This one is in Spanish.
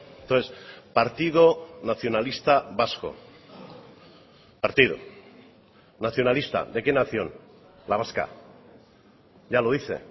entonces partido nacionalista vasco partido nacionalista de qué nación la vasca ya lo dice